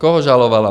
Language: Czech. Koho žalovala?